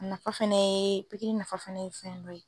A nafa fɛnɛ ye pikiri nafa fɛnɛ ye fɛn dɔ ye.